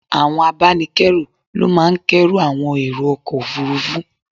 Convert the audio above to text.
Àwọn abánikẹ́rù ló máa ń k'ẹ́rù àwọn èrò ọkọ̀ Òfurufú.